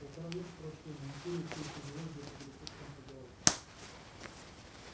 полтора века прошло но империя все ещё жила где-то далеко в центре галактики